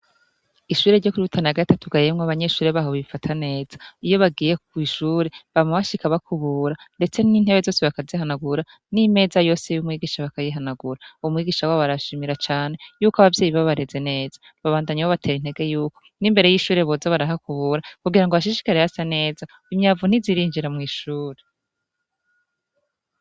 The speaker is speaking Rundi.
Ishure ryo kwirutana gati atugayemwo abanyeshure baho bifata neza iyo bagiye ku'ishure bamabashikabakubura, ndetse n'intebe zose bakazihanagura n'imeza yose y'umwigisha bakayihanagura umwigisha wa barashimira cane yuko abavyeyi babareze neza babandanye b batera intege yuko n'imbere y'ishure boza barahakubura kugira ngo ashishikare hasa neza imyaa ni zirinjira mw'ishuri.